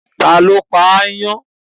Ta ló pa aáyán?